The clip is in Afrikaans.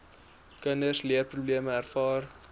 kinders leerprobleme ervaar